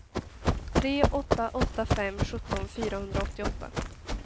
tre åtta åtta fem sjutton fyrahundraåttioåtta